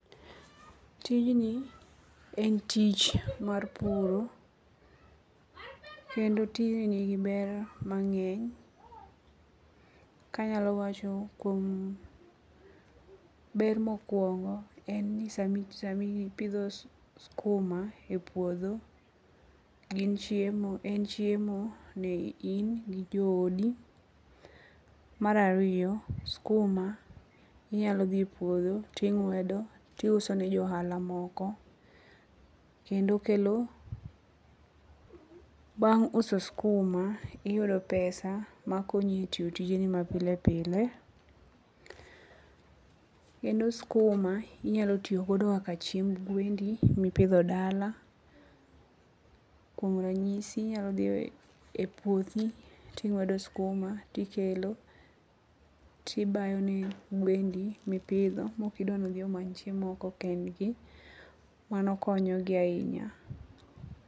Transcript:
Tijni en tich mar puro. Kendo tijni ni gi ber mang'eny. Kanyalo wacho kuom ber mokwongo en ni samipidho skuma e puodho gin chiemo en chiemo ne in gi jo odi. Mar ariyo skuma inyalo dhi e puodho ting'edo ti uso ne jo ohala moko kendo kelo. Bang' uso skuma iyudo pesa makonyi e tiyo tijeni ma pile pile. Kendo skuma inyalo tiyogodo kaka chiemb gwendi mipidho dala. Kuom ranyisi inyalo dhi e puothi ting'wedo skuma tikelo tibayo ne gwendi mipidho mok idwa nodhi omany chiemo oko kendgi. Mano konyogi ahinya.